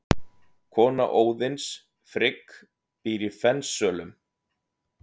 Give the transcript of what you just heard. Kona Óðins, Frigg, býr í Fensölum.